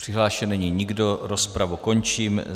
Přihlášen není nikdo, rozpravu končím.